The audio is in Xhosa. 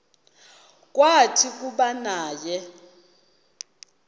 kwathi kuba naye